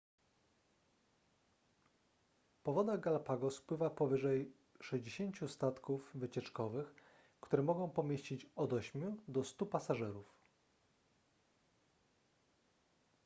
po wodach galapagos pływa powyżej 60 statków wycieczkowych które mogą pomieścić od 8 do 100 pasażerów